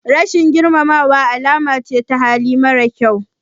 Rashin girmamawa alama ce ta hali mara kyau.